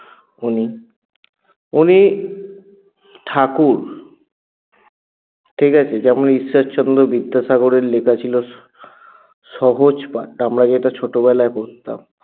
উনি উনি ঠাকুর ঠিকাছে? যেমন ঈশ্বরচন্দ্র বিদ্যাসাগরের লিখা ছিল সহজপাঠ আমরা যেটা ছোটবেলায় পড়তাম